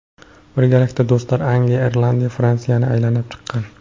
Birgalikda do‘stlar Angliya, Irlandiya, Fransiyani aylanib chiqqan.